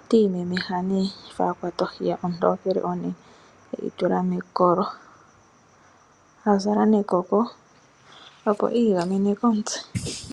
otiimemeha nee sho akwata ohi yee ontokele onene, eyitula mekolo, azala nekoko opo iigamene komutse.